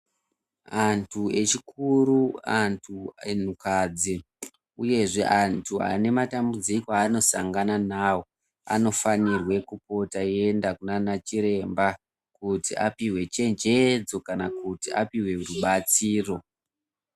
Antu echikuru, antukadzi uyezve antu ane matambudziko aanosangana nawo anofanirwe kupota eienda kunaana chiremba kuti apihwe chenjedzo kana kuti apihwe rubatsiro.